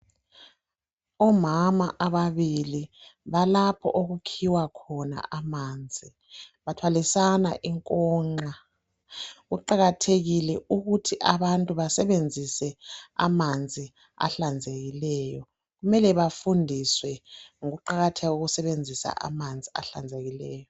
Omama ababili balapho okukhiwa khona amanzi .Bathwalisana inkonxa. Kuqakathekile ukuthi abantu basebenzise amanzi ahlanzekileyo . Kumele bafundiswe ngokuqakatheka kokusebenzisa amanzi ahlanzekileyo.